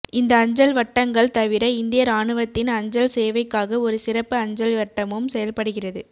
இந்த அஞ்சல் வட்டங்கள் தவிர இந்திய இராணுவத்தின் அஞ்சல்சேவைக்காக ஒரு சிறப்பு அஞ்சல் வட்டமும் செயல்படுகிறது